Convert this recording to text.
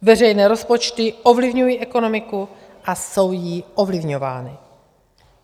Veřejné rozpočty ovlivňují ekonomiku a jsou jí ovlivňovány.